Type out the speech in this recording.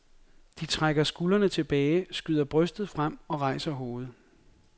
De trækker skuldrene tilbage, skyder brystet frem og rejser hovedet.